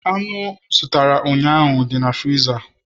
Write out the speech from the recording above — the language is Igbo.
anụ m zụtara ụnyaahụ nọ na friza